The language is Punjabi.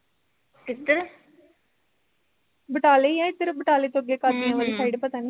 ਕਿੱਧਰ ਬਟਾਲੇ ਈ ਐ ਇੱਧਰ ਬਟਾਲੇ ਤੋਂ ਅੱਗੇ ਕਾਂਜੀਆਂ ਵਾਲੀ side ਪਤਾ ਨੀ ਹਮ ਹਮ